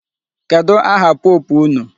Kedụ aha pope unu?